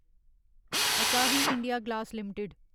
असाही India glass limited